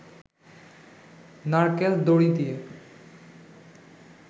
নারকেল দড়ি দিয়ে